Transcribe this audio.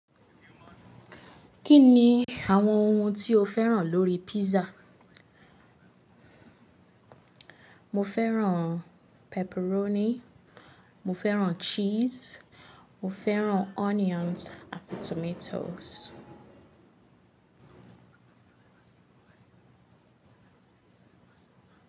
Kí ni àwọn ohun tí o fẹ́ràn lórí pizza? Mo fẹ́ràn pepperoni, mo fẹ́ràn cheese, mo fẹ́ràn onions àti tomatoes.